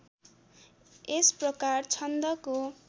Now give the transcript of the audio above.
यस प्रकार छन्दको